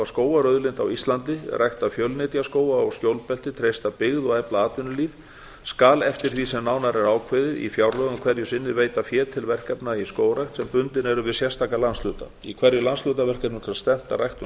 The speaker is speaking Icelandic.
skógarauðlind á íslandi rækta fjölnytjaskóga og skjólbelti treysta byggð og efla atvinnulíf skal eftir því sem nánar er ákveðið í fjárlögum hverju sinni veita fé til verkefna í skógrækt sem bundin eru við sérstaka landshluta í hverju landshlutaverkefni skal stefnt að ræktun